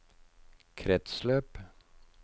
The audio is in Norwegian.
kretsløp